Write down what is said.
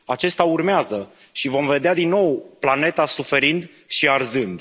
Acesta urmează și vom vedea din nou planeta suferind și arzând.